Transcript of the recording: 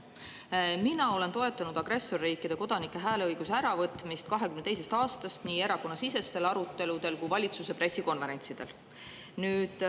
Mina olen alates 2022. aastast toetanud agressorriikide kodanikelt hääleõiguse äravõtmist nii erakonnasisestel aruteludel kui ka valitsuse pressikonverentsidel.